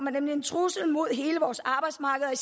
er nemlig en trussel mod hele og